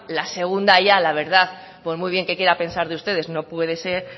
la segunda ya la verdad por muy bien que quiera pensar de ustedes no puede ser